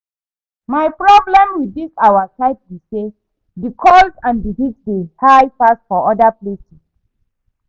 My problem with this our side be say the cold and the heat dey high pass for other places